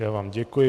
Já vám děkuji.